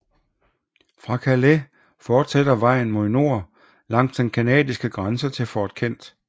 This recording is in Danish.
Fra Calais fortsætter vejen mod nord langs den canadiske grænse til Fort Kent